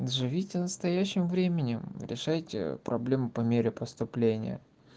живите настоящим временем решайте проблемы по мере поступления